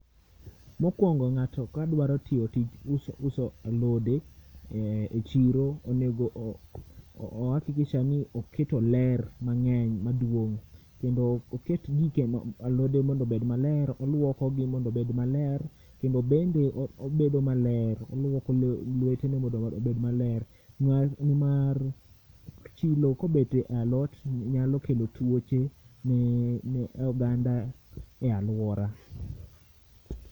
Mokwongo ng'ato ka dwaro tiyo tich mar uso alode e chiro onego o[hakikisha] ni oketo ler mang'eny maduong' kendo oket alode mondo obed maber, kolwoko gi mondo gibed maler kendo bende obedo maler. Olwoko lwetene mondo obed maler ni mar chilo kobedo e alot nyalo kelo twoche ne oganda e aluora